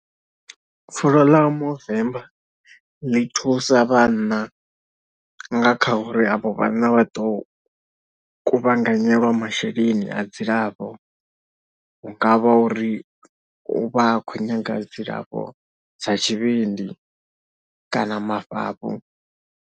Fulo ḽa Movember ḽi thusa vhanna nga kha uri avho vhanna vha ḓo kuvhanganyiwa masheleni a dzilafho hu nga vha uri u vha a kho nyaga dzilafho dza tshivhindi kana mafhafhu.